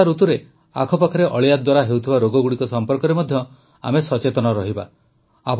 ବର୍ଷାଋତୁରେ ଆଖପାଖରେ ଅଳିଆ ଦ୍ୱାରା ହେଉଥିବା ରୋଗଗୁଡ଼ିକ ସମ୍ପର୍କରେ ମଧ୍ୟ ଆମେ ସଚେତନ ରହିବା